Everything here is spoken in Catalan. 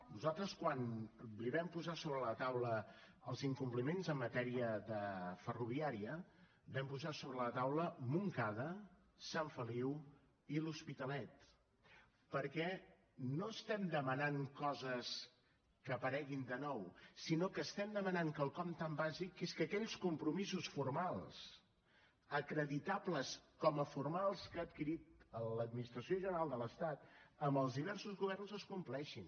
nosaltres quan li vam posar sobre la taula els incompliments en matèria ferroviària vam posar sobre la taula montcada sant feliu i l’hospitalet perquè no estem demanant coses que apareguin de nou sinó que estem demanant quelcom tan bàsic que és que aquells compromisos formals acreditables com a formals que ha adquirit l’administració general de l’estat amb els diversos governs es compleixin